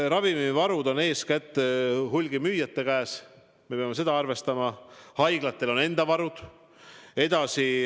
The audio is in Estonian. Ravimivarud on eeskätt hulgimüüjate käes, me peame seda arvestama, ka haiglatel on enda varud.